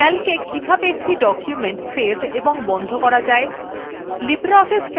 calca কিভাবে একটি document save ও বন্ধ করবেন